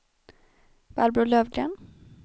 Barbro Lövgren